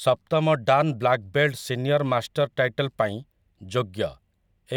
ସପ୍ତମ dan black belt senior master title ପାଇଁ ଯୋଗ୍ୟ